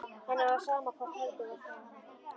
Henni var sama hvort heldur var.